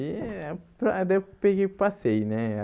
E aí daí eu peguei e passei, né?